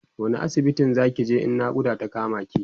wani asibitin Zaki je in naƙuda ta kama ki?